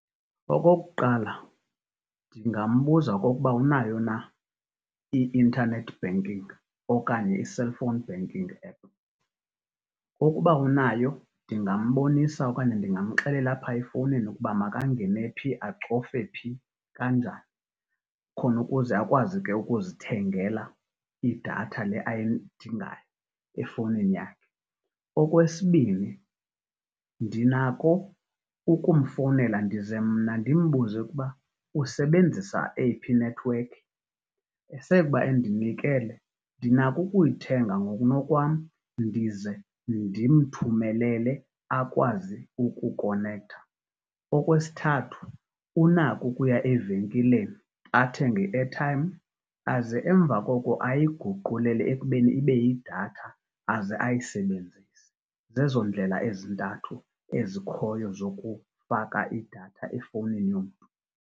Okokuqala, ndingambuza okukuba unayo na i-internet banking okanye i-cellphone banking app. Ukuba unayo ndingambonisa okanye ndingamxelela apha efowunini ukuba makangene phi, acofe phi kanjani khona ukuze akwazi ke ukuzithengela idatha le ayidingayo efowunini yakhe. Okwesibini, ndinako ukumfowunela ndize mna ndimbuze ukuba usebenzisa eyiphi inethiwekhi, esekuba endinikele ndinako ukuyithenga ngokunokwam ndize ndimthumelele akwazi ukukonektha. Okwesithathu, unako ukuya evenkileni athenge i-airtime aze emva koko ayiguqulele ekubeni ibeyidatha aze ayisebenzise. Zezo ndlela ezintathu ezikhoyo zokufaka idatha efowunini yomntu.